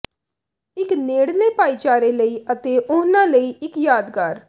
ਇਕ ਨੇੜਲੇ ਭਾਈਚਾਰੇ ਲਈ ਅਤੇ ਉਨ੍ਹਾਂ ਲਈ ਇੱਕ ਯਾਦਗਾਰ